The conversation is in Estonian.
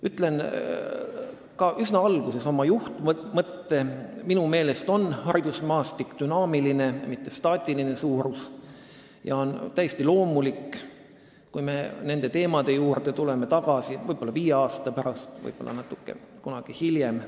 Ütlen üsna alguses ära ka oma juhtmõtte: minu meelest on haridusmaastik dünaamiline, mitte staatiline suurus ja on täiesti loomulik, kui me nende teemade juurde tagasi tuleme, võib-olla viie aasta pärast, võib-olla kunagi hiljem.